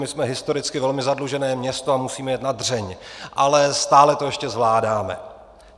My jsme historicky velmi zadlužené město a musíme jet na dřeň, ale stále to ještě zvládáme.